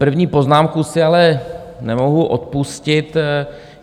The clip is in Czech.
První poznámku si ale nemohu odpustit.